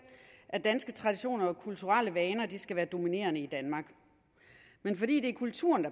at danske traditioner og kulturelle vaner skal være dominerende i danmark men fordi det er kulturen